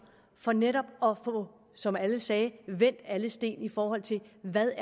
for netop at få som alle sagde vendt alle sten i forhold til hvad